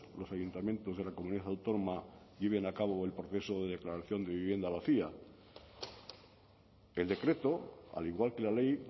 los ayuntamientos de la comunidad autónoma lleven a cabo el proceso de declaración de vivienda vacía el decreto al igual que la ley